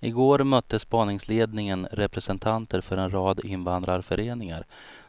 I går mötte spaningsledningen representanter för en rad invandrarföreningar